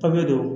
Papiye don